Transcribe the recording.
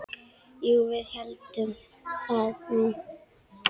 Jú, við héldum það nú.